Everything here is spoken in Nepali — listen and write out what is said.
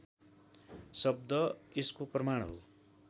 शब्द यसको प्रमाण हो